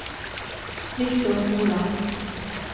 Viktor Moland